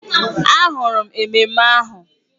Ahụrụ m ememme ahụ